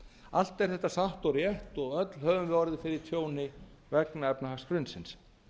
allt er þetta satt og rétt og öll höfum við orðið fyrir tjóni vegna efnahagshrunsins